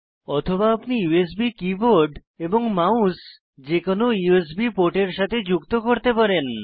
অথবা আপনি USB keyboard এবং মাউস যে কোনো ইউএসবি পোর্টের সাথে যুক্ত করতে পারেন